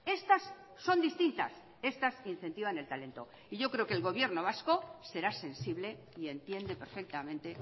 estas son distintas estas incentivan el talento y yo creo que el gobierno vasco será sensible y entiende perfectamente